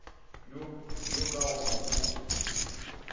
wo ka go no o